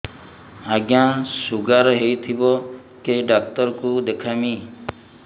ଆଜ୍ଞା ଶୁଗାର ହେଇଥିବ କେ ଡାକ୍ତର କୁ ଦେଖାମି